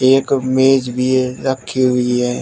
एक मेज भी रखी हुई है।